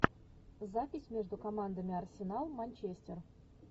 запись между командами арсенал манчестер